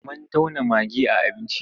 Mun tauna magi a abinci.